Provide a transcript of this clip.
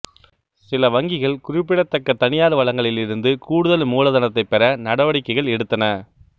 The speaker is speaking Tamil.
சில வங்கிகள் குறிப்பிடத்தக்க தனியார் வளங்களிலிருந்து கூடுதல் மூலதனத்தைப் பெற நடவடிக்கைகள் எடுத்தன